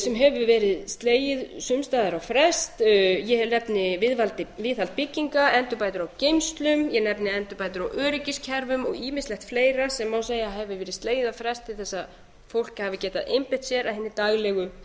sem hefur verið slegið sums staðar á frest ég nefni viðhaldi bygginga endurbætur á geymslum ég nefni endurbætur á öryggiskerfum og ýmislegt fleira sem má segja að hafi verið slegið á frest til þess að fólk hafi getað einbeitt sér að hinni daglegu